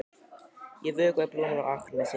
Ég vökvaði blómin á Akranesi.